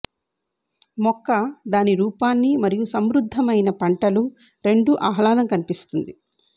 మొక్క దాని రూపాన్ని మరియు సమృద్ధమైన పంటలు రెండు ఆహ్లాదం కనిపిస్తుంది